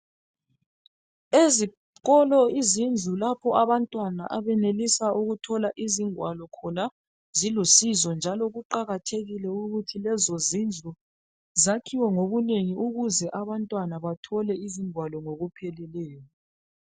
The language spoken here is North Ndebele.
Ezikolo izindlu lapho abantwana abenelisa ukuthola izingwalo khona, zilusizo, njalo kuqakathekile ukuthi lezozindlu zakhiwe ngobunengi. Ukuze abantwana bathole izingwalo ngokupheleleyo.